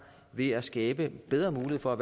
ved at skabe bedre muligheder for